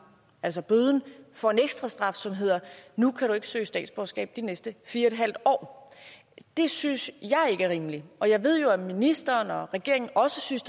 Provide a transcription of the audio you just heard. altså bøden får en ekstra straf som hedder nu kan du ikke søge statsborgerskab i de næste fire en halv år det synes jeg ikke er rimeligt og jeg ved jo at ministeren og regeringen også synes